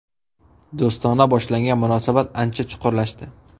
Do‘stona boshlangan munosabat ancha chuqurlashdi.